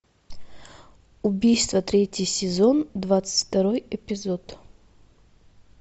убийство третий сезон двадцать второй эпизод